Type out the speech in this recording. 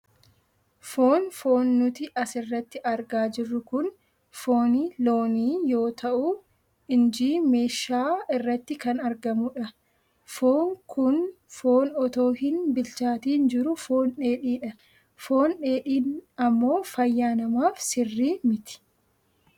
Foon, foon nuti asirratti argaa jirru kun fooni loonii yoo ta'u inji meeshaa irratti kan argamudha. Foon kun foon otoo hin bilchaatiin jiru foon dheedhiidha. Foon dheedhiin ammoo fayyaa namaaf sirrii miti.